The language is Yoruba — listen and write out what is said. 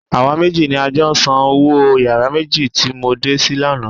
Àwa méjì ni a jọ san owó yàrá méjì tí mo dé sí lánàá.